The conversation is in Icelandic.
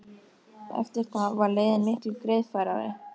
Eftir það var leiðin miklu greiðfærari.